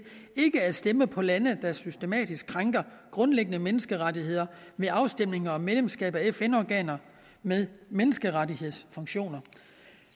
ikke at stemme på lande der systematisk krænker grundlæggende menneskerettigheder ved afstemninger om medlemskab af fn organer med menneskerettighedsfunktioner